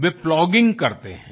वे plogging करते हैं